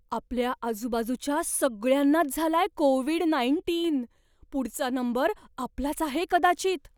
आपल्या आजूबाजूच्या सगळ्यांनाच झालाय कोविड नाईंटीन, पुढचा नंबर आपलाच आहे कदाचित.